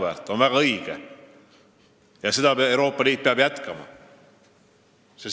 See on väga õige ja seda peab Euroopa Liit jätkama.